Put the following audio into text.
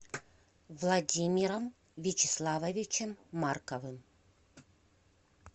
владимиром вячеславовичем марковым